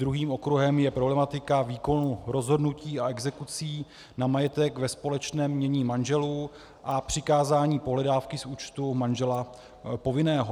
Druhým okruhem je problematika výkonu rozhodnutí a exekucí na majetek ve společném jmění manželů a přikázání pohledávky z účtu manžela povinného.